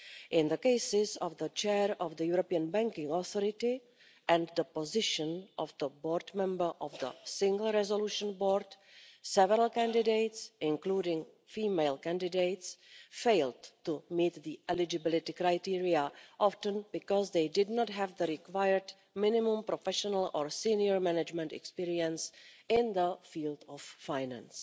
In the cases of the chair of the European Banking Authority and the position of board member of the Single Resolution Board, several candidates, including female candidates, failed to meet the eligibility criteria, often because they did not have the required minimum professional or senior management experience in the field of finance.